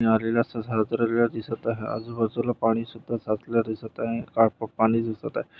आजूबाजूला पाणीसुद्धा साठलेला दिसत आहे पाणी दिसतं आहे.